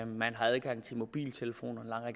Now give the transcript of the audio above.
man har adgang til mobiltelefoner og